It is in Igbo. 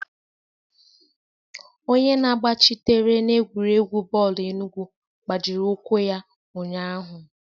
Onye na-agbachitere n'egwuregwu bọọlụ enugwu gbajiri ụkwụ ya ụnyahụ.